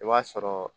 I b'a sɔrɔ